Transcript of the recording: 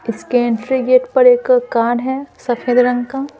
इसके entry gate पर एक कार है सफेद रंग का --